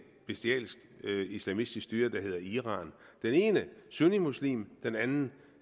bestialsk islamistisk styre der hedder iran det ene er sunnimuslimsk det andet